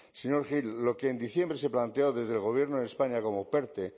señor gil lo que en diciembre se planteó desde el gobierno de españa como perte